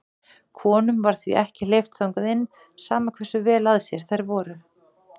Konum var því ekki hleypt þangað inn, sama hversu vel að sér þær voru.